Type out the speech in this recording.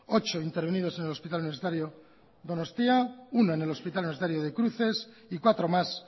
ocho intervenidos en el hospital universitario donostia uno en el hospital universitario de cruces y cuatro más